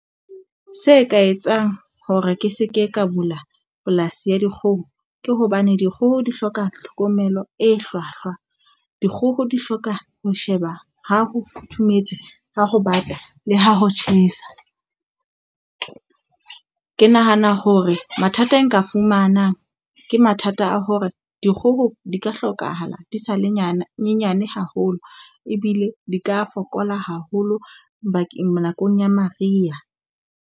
Se ka etsang hore ke se ke ka bula polasi ya dikgoho ke hobane dikgoho di hloka tlhokomelo e hlwahlwa. Dikgoho di hloka ho sheba ha ho futhumetse, ha ho bata, le ha ho tjhesa. Ke nahana hore mathata e nka fumanang ke mathata a hore dikgoho di ka hlokahala di sa le nyane nyenyane haholo ebile di ka fokola haholo bakeng nakong ya Mariha.